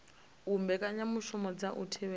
u mbekanyamushumo dza u thivhela